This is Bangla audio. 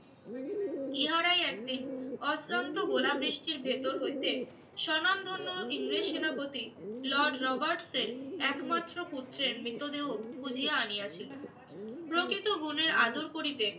ইহারাই একদিন অত্যন্ত গোলাবৃষ্টির ভেতর হইতে স্বনামধন্য ইংরেজ সেনাপতি লর্ড রবার্টসের একমাত্র পুত্রের মৃতদেহ খুঁজিয়া আনিয়াছিল। প্রকৃত গুণের আদর করিতে